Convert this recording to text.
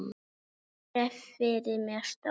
Ég sé fyrir mér stór